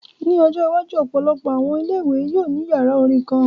Ni ojo iwaju, ọpọlọpọ awọn ile-iwe yoo ni yara orin kan.